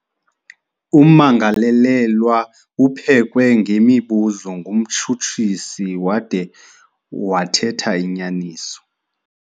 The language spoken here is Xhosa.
Ummangalelelwa uphekwe ngemibuzo ngumtshutshisi wade wathetha inyaniso.